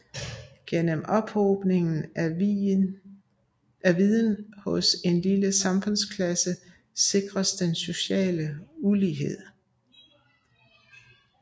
Gennem ophobningen af viden hos en lille samfundsklasse sikres den sociale ulighed